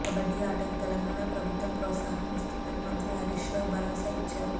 కబడ్డీ ఆటకు తెలంగాణ ప్రభుత్వం ప్రోత్సాహం ఇస్తుందని మంత్రి హరీశ్ రావు భరోసా ఇచ్చారు